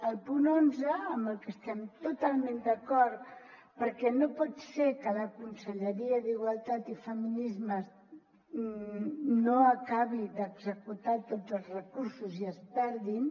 el punt onze amb el que estem totalment d’acord perquè no pot ser que la conselleria d’igualtat i feminismes no acabi d’executar tots els recursos i es perdin